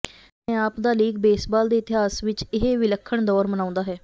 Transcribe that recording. ਆਪਣੇ ਆਪ ਦਾ ਲੀਗ ਬੇਸਬਾਲ ਦੇ ਇਤਿਹਾਸ ਵਿੱਚ ਇਹ ਵਿਲੱਖਣ ਦੌਰ ਮਨਾਉਂਦਾ ਹੈ